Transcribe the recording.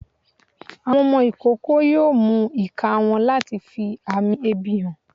Àwọn ọmọ ikoko yoo mú ika wọn latí fí amí ebi hán